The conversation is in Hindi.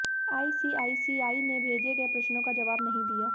आईसीआईसीआई ने भेजे गए प्रश्नों का जबाव नहीं दिया